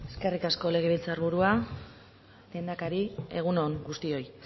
eskerrik asko legebiltzarburua lehendakari egunon guztioi